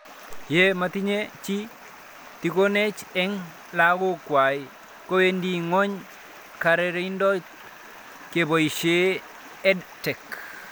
Ye matinye chii tikonet eng' lakok kwai kowendi ng'weny kararindop kepoishe EdTech